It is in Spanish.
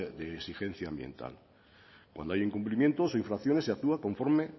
de exigencia ambiental cuando hay incumplimiento o infracciones se actúa con forme